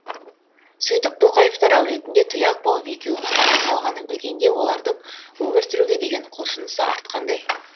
сөйтіп тоқаевтар әулетінде тұяқ болып екеуінің ғана қалғанын білгенде олардың өмір сүруге деген құлшынысы артқандай